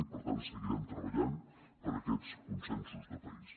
i per tant seguirem treballant per aquests consensos de país